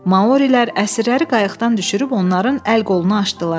Maurilər əsirləri qayıqdan düşürüb onların əl-qolunu açdılar.